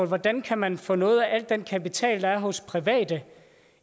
hvordan kan man få noget af al den kapital der er hos private